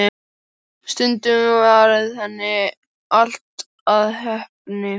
Stundum varð henni allt að heppni.